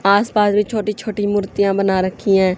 आसपास भी छोटी छोटी मूर्तियां बना रखी हैं।